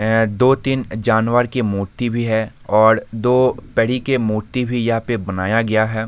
ऐ दो तीन जानवर की मूर्ति भी है और दो तरीके के मूर्ति भी यहाँ बनाया गया है।